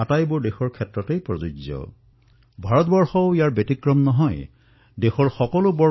আমাৰ দেশত এনে এটা শ্ৰেণী নাই যি দুখত ভাৰাক্ৰান্ত হোৱা নাই আৰু এই সংকটৰ সময়ছোৱাত আটাইতকৈ ক্ষতিগ্ৰস্ত হৈছে আমাৰ দৰিদ্ৰ শ্ৰমিকসকল